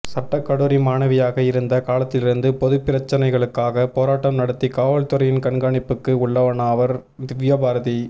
சட்டக்கல்லூரி மாணவியாக இருந்த காலத்திலிருந்து பொதுப்பிரச்னைகளுக்காக போராட்டம் நடத்தி காவல்துறையின் கண்காணிப்புக்கு உள்ளானவர் திவ்யபாரதி